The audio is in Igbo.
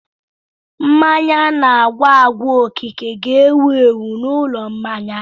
Mmanya ana-agwa agwa okike ga-ewu ewu n'ụlọ mmanya.